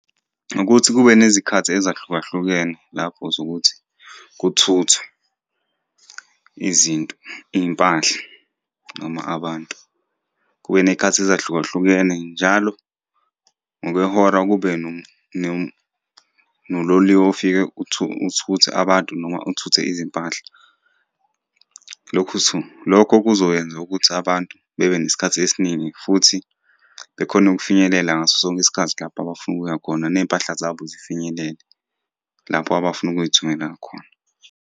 Ukuthi kube nezikhathi ezahlukahlukene lapho zokuthi kuthuthwe izinto, iy'mpahla noma abantu. Kube ney'khathi ezahlukahlukene njalo ngokwehora kube nololiwe ofike uthuthe abantu noma uthuthe izimpahla. Lokhu lokho kuzokwenza ukuthi abantu bebe nesikhathi esiningi, futhi bekhone ukufinyelela ngaso sonke isikhathi lapha abafuna ukuya khona, ney'mpahla zabo zifinyelele lapho abafuna ukuy'thumelela khona.